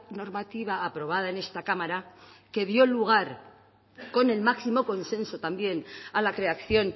normativa aprobada en esta cámara que dio el lugar con el máximo consenso también a la creación